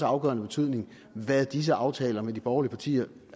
afgørende betydning hvad disse aftaler med de borgerlige partier